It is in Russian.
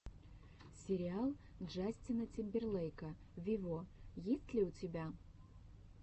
сериал джастина тимберлейка вево есть ли у тебя